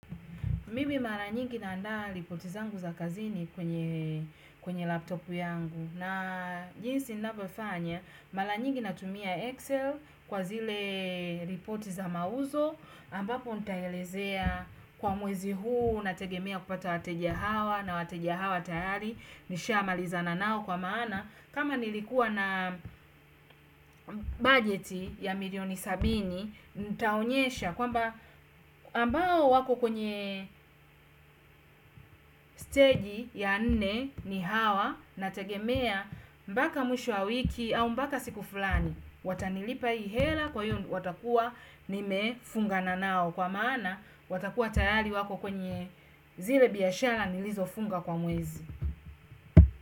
Mimi mara nyingi naandaa ripoti zangu za kazini kwenye laptop yangu. Na jinsi nnavyofanya, mara nyingi na tumia Excel kwa zile ripoti za mauzo. Ambapo ntaelezea kwa mwezi huu, nategemea kupata wateja hawa na wateja hawa tayari. Nishamalizana nao kwa maana. Kama nilikuwa na bajeti ya milioni sabini, ntaonyesha. Kwamba ambao wako kwenye steji ya nne ni hawa na tegemea mpaka mwisho wa wiki au mpaka siku fulani. Watanilipa ii hela kwa hiyo watakua nimefungana nao kwa maana watakua tayari wako kwenye zile biashara nilizo funga kwa mwezi.